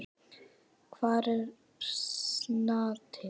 Hvar er Snati?